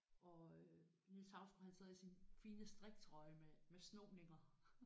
Og øh Niels Hausgaard han sidder i sin fine striktrøje med med snoninger